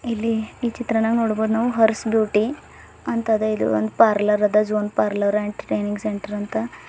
ಇಲ್ಲಿ ಈ ಚಿತ್ರಣ ನೋಡ್ಬೋದು ನಾವು ಹರ್ಸ್ ಬ್ಯೂಟಿ ಅಂತದ ಇದು ಒಂದು ಪಾರ್ಲರ್ ಅದ zone parlour and training centre ಅಂತ.